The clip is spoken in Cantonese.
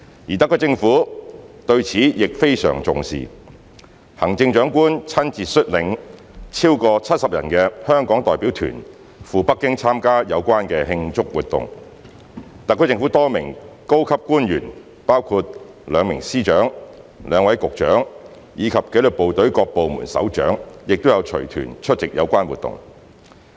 而特區政府對此亦非常重視，行政長官親自率領超過70人的香港代表團赴北京參加有關慶祝活動，特區政府多名高級官員包括兩名司長、兩位局長，以及紀律部隊各部門首長亦有隨團出席有關活動。